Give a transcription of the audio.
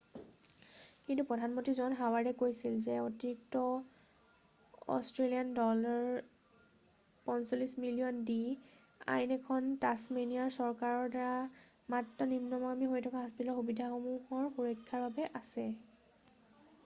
কিন্তু প্ৰধানমন্ত্ৰী জন হাৱাৰ্ডে কৈছিল যে অতিৰিক্ত aud$৪৫ মিলিয়ন দি আইন খন তাচমেনিয়া চৰকাৰৰ দ্বাৰা মাত্ৰ নিম্নগামী হৈ থকা হাস্পতাল সুবিধাসমূহৰ সুৰক্ষাৰ বাবে আছে।